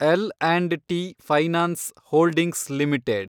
L and T Finance Holdings limited